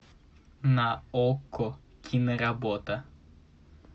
на окко киноработа